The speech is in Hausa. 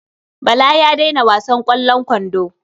Bala ya daina wasan ƙwallon kwando.